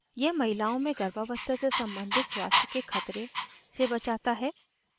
यह महिलाओं में गर्भावस्था से संबंधित स्वास्थ्य के खतरे से बचाता है